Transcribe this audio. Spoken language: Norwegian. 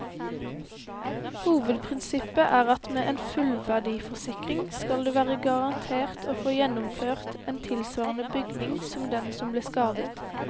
Hovedprinsippet er at med en fullverdiforsikring skal du være garantert å få gjenoppført en tilsvarende bygning som den som ble skadet.